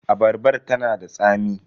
Abarbar ta na da tsami.